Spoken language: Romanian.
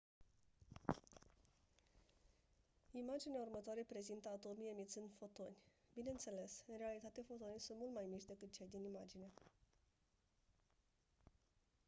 imaginea următoare prezintă atomii emițând fotoni bineînțeles în realitate fotonii sunt mult mai mici decât cei din imagine